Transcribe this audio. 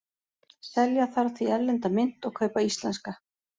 Selja þarf því erlenda mynt og kaupa íslenska.